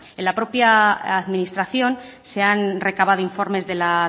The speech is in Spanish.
en la propia administración se han recabado informes de la